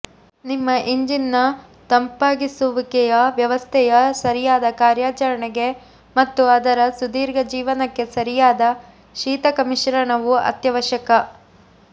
ನಿಮ್ಮ ಇಂಜಿನ್ನ ತಂಪಾಗಿಸುವಿಕೆಯ ವ್ಯವಸ್ಥೆಯ ಸರಿಯಾದ ಕಾರ್ಯಾಚರಣೆಗೆ ಮತ್ತು ಅದರ ಸುದೀರ್ಘ ಜೀವನಕ್ಕೆ ಸರಿಯಾದ ಶೀತಕ ಮಿಶ್ರಣವು ಅತ್ಯವಶ್ಯಕ